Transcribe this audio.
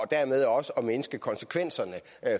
dermed også at mindske konsekvenserne